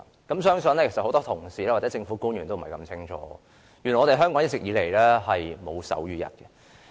我相信很多同事或政府官員皆不知道原來香港一直以來並沒有手語日。